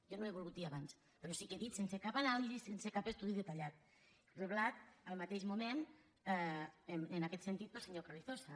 jo no ho he volgut dir abans però sí que he dit sense cap anàlisi sense cap estudi detallat reblat al mateix moment en aquest sentit pel senyor carrizosa